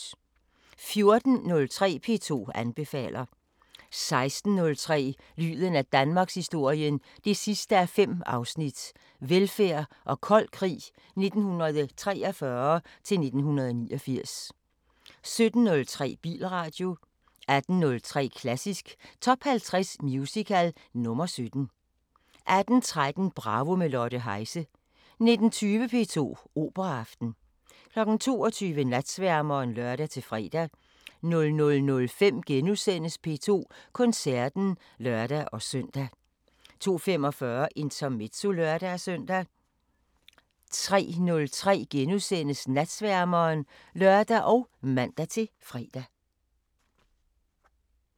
14:03: P2 anbefaler 16:03: Lyden af Danmarkshistorien 5:5 – Velfærd og kold krig 1943 – 1989 17:03: Bilradio 18:03: Klassisk Top 50 Musical – nr. 17 18:13: Bravo – med Lotte Heise 19:20: P2 Operaaften 22:00: Natsværmeren (lør-fre) 00:05: P2 Koncerten *(lør-søn) 02:45: Intermezzo (lør-søn) 03:03: Natsværmeren *(lør og man-fre)